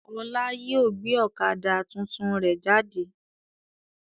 Ọlá yìí ó gbé ọ̀kadà tuntun rẹ jáde.